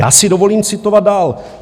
Já si dovolím citovat dál.